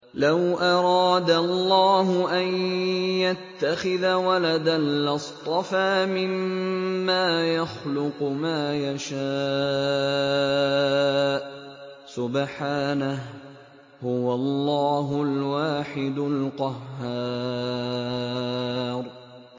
لَّوْ أَرَادَ اللَّهُ أَن يَتَّخِذَ وَلَدًا لَّاصْطَفَىٰ مِمَّا يَخْلُقُ مَا يَشَاءُ ۚ سُبْحَانَهُ ۖ هُوَ اللَّهُ الْوَاحِدُ الْقَهَّارُ